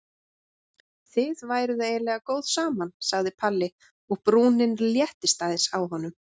Þið væruð eiginlega góð saman sagði Palli og brúnin léttist aðeins á honum.